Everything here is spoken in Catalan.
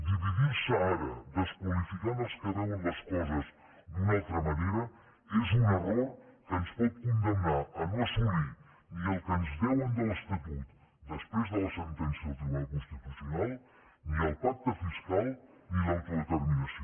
dividir se ara desqualificant els que veuen les coses d’una altra manera és un error que ens pot condemnar a no assolir ni el que ens deuen de l’estatut després de la sentència del tribunal constitucional ni el pacte fiscal ni l’autodeterminació